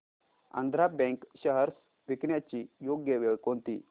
Andhra bank shares विकण्याची योग्य वेळ कोणती